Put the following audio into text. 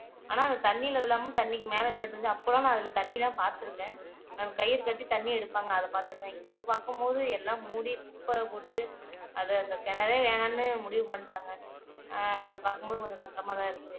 ஆனா அது தண்ணில விழாம தண்ணிக்கு மேல நின்னுட்டுருந்துச்சு அப்பல்லாம் நான் அதுல தண்ணி தான் பாத்துருக்கேன் கயிறு கட்டி தண்ணி எடுப்பாங்க அத பாத்துருக்கேன் இப்ப பாக்கும் போது எல்லாம் மூடி குப்பை போட்டு அத அந்த கிணறே வேணாம்னு முடிவு பண்ணிட்டாங்க பாக்கும்போது அஹ் கொஞ்சம் கஷ்டமா தான் இருக்கு